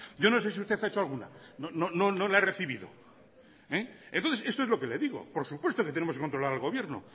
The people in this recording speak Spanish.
yo no sé si usted ha hecho alguna no la he recibido entonces esto es lo que le digo por supuesto que tenemos que controlar al gobierno